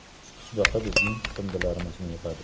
Qisqichbaqa bizning chiqindilarimizni yig‘adi.